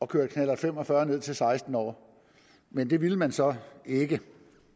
køre knallert fem og fyrre ned til seksten år men det ville man så ikke